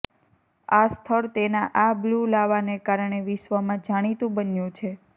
આ સ્થળ તેના આ બ્લુ લાવાને કારણે વિશ્વમાં જાણીતું બન્યું છે